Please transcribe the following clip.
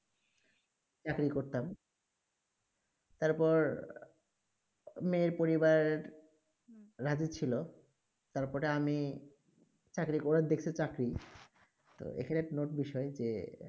তার পর মেয়ে পরিবার হম রাজি ছিল তার পরে আমি ওরা দেখছে চাকরি এইখানে note বিষয়ে যে